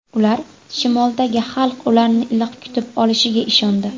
Ular shimoldagi xalq ularni iliq kutib olishiga ishondi.